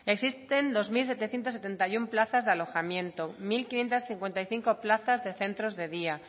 existen dos mil setecientos setenta y uno plazas de alojamiento mil quinientos cincuenta y cinco plazas de centros de día